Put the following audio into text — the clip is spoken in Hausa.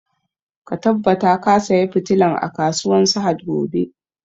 Ka tabbata ka saya fitilan a kasuwan sahad gobe!